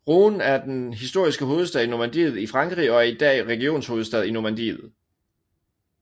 Rouen er den historiske hovedstad i Normandiet i Frankrig og er i dag regionshovedstad i Normandie